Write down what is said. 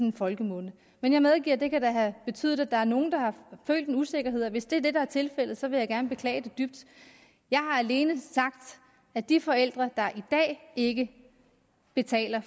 i folkemunde men jeg medgiver det kan have betydet at der er nogle der har følt en usikkerhed og hvis det er det der er tilfældet så vil jeg gerne beklage det dybt jeg har alene sagt at de forældre der i dag ikke betaler